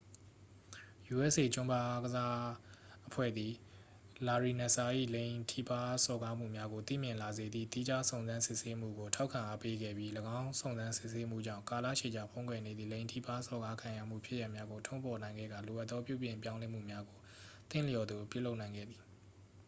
usa ကျွမ်းဘားအားကစားအဖွဲ့သည် လာရီနက်စ်စာ ၏ လိင်ထိပါးစော်ကားမှုများကို သိမြင်လာစေသည့် သီးခြားစုံစမ်းစစ်ဆေးမှုကို ထောက်ခံအားပေးခဲ့ပြီး ယင်းစုံစမ်းစစ်ဆေးမှုကြောင့် ကာလရှည်ကြာဖုံးကွယ်နေသည့် လိင်ထိပါးစော်ကားခံရမှုဖြစ်ရပ်များကို ထုတ်ဖော်နိုင်ခဲ့ကာ လိုအပ်သောပြောင်းလဲမှုများကို သင့်လျော်သလိုပြုလုပ်နိုင်ခဲ့သည်